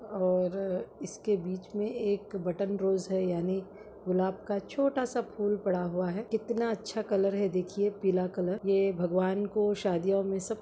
और इसके बीच मे एक बटन रोज़ है यानि गुलाब का छोटा सा फूल पड़ा हुआ है कितना अच्छा कलर है देखिए पीला कलर यह भगवान को शादियों मे सब--